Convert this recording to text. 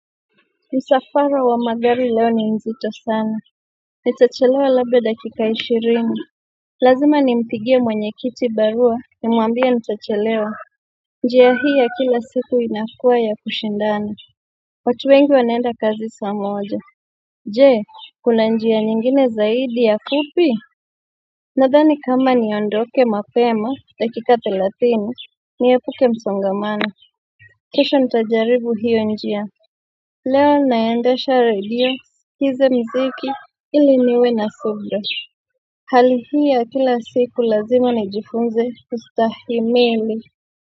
Msafara wa magari leo ni nzito sana nitachelewa labda dakika ishirini lazima nimpigie mwenye kiti barua ni muambie nitachelewa njia hii ya kila siku inakua ya kushindana watu wengi wanaenda kazi saa moja jee kuna njia nyingine zaidi ya fupi nadhani kama niondoke mapema dakika thelatini niepuke msongamana kisha ntajaribu hiyo njia leo ninaendasha radios niskize mziki ili niwe na sofra Halihii ya kila siku lazima ni jifunze ustahimili.